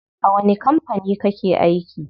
A wani kampani kake aiki?